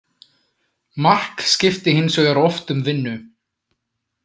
Mark skipti hins vegar oft um vinnu.